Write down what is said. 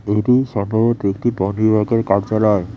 এটি সম্ভবত একটি ওয়ার্কারের কার্যালয়।